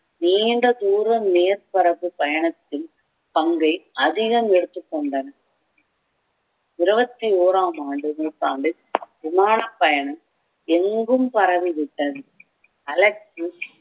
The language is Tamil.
நீண்ட தூரம் மேற்பரப்பு பயணத்தில் பங்கை அதிகம் எடுத்துக்கொண்டனர் இருபத்தி ஒராம் ஆண்டு நூற்றாண்டில் விமான பயணம் எங்கும் பரவிவிட்டது